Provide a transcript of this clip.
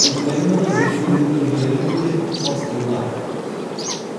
украинада зерттелген үлгілерімен де салыстыруда